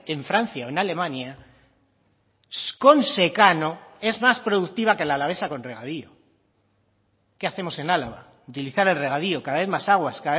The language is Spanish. en francia o en alemania con secano es más productiva que la alavesa con regadío qué hacemos en álava utilizar el regadío cada vez más aguas